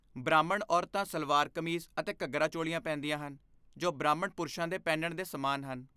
ਬ੍ਰਾਹਮਣ ਔਰਤਾਂ ਸਲਵਾਰ ਕਮੀਜ਼ ਅਤੇ ਘੱਗਰਾ ਚੋਲੀਆਂ ਪਹਿਨਦੀਆਂ ਹਨ, ਜੋ ਬ੍ਰਾਹਮਣ ਪੁਰਸ਼ਾਂ ਦੇ ਪਹਿਨਣ ਦੇ ਸਮਾਨ ਹਨ।